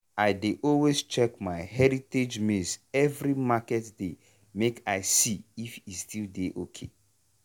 i dey always check my heritage maize every market day make i see if e still dey ok.